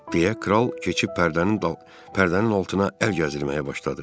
Belə kral keçib pərdənin pərdənin altına əl gəzdirməyə başladı.